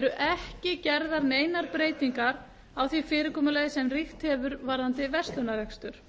eru ekki gerðar neinar breytingar á því fyrirkomulagi sem ríkt hefur varðandi verslunarrekstur